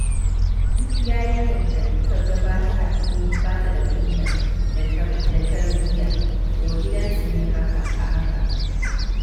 Duk yarinyar da kaga bata da kunya da tarbiyya, to gidansu ne a haka.